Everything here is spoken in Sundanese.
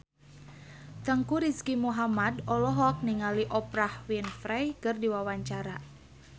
Teuku Rizky Muhammad olohok ningali Oprah Winfrey keur diwawancara